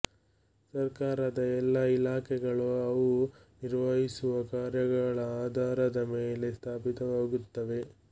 ಸರ್ಕಾರದ ಎಲ್ಲ ಇಲಾಖೆಗಳು ಅವು ನಿರ್ವಹಿಸುವ ಕಾರ್ಯಗಳ ಆಧಾರದ ಮೇಲೆ ಸ್ಥಾಪಿತವಾಗುತ್ತವೆ